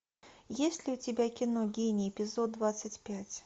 есть ли у тебя кино гений эпизод двадцать пять